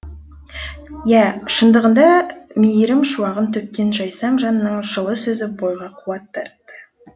иә шындығында мейірім шуағын төккен жайсаң жанның жылы сөзі бойға қуат дарытты